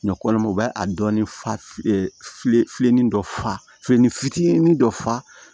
Ɲɔkɔnɔ u b'a a dɔɔnin falen filennin dɔ falenni fitinin dɔ fa